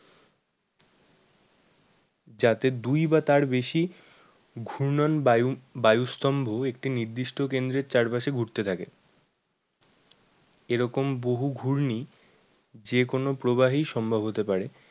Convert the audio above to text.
যাতে দুই বা তার বেশি ঘূর্ণয়ন বায়ু, বায়ুস্তম্ভ একটি নির্দিষ্ট কেন্দ্রের চারপাশে ঘুরতে থাকে। এরকম বহু ঘূর্ণি যে কোনো প্রবাহেই সম্ভব হতে পারে।